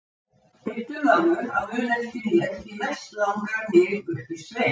Biddu mömmu að muna eftir mér því mest langar mig upp í sveit